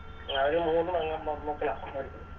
ആ അവര് മൂന്ന്പേങ്ങ മ മക്കളെ അവര്